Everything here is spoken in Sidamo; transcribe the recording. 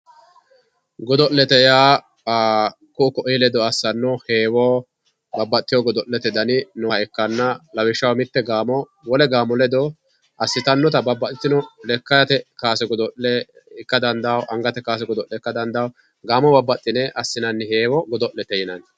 Godo'lete yaa ku'u ku'uyi ledo assanno heewo babbaxxiteyo godo'lete dani nooha ikkanna lawishshaho mitte gaamo wole gaamo ledo assitannota babbaxxiteyoota lekkate kaase ikka dandawo angtae kaase ikka dandawo babbaxxiteyoota gaamo baxxine assinayiita godo'lete yinanni